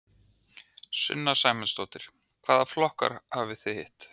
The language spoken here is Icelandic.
Sunna Sæmundsdóttir: Hvaða flokka hafið þið hitt?